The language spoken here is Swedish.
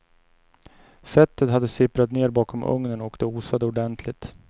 Fettet hade sipprat ner bakom ugnen och det osade ordentligt.